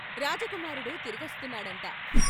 "రాజకుమారుడు తిరిగొస్తున్నాడంట !"